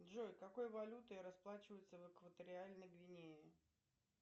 джой какой валютой расплачиваются в экваториальной гвинеи